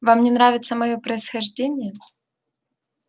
вам не нравится моё происхождение